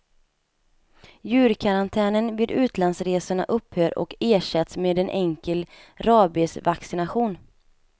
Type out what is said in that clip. Djurkarantänen vid utlandsresorna upphör och ersätts med en enkel rabiesvaccination.